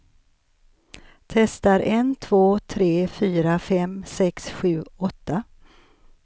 Testar en två tre fyra fem sex sju åtta.